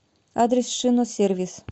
адрес шиносервис